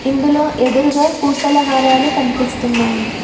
ఇందులో ఎదురుగా పూసల హారాలు కనిపిస్తున్నాయి.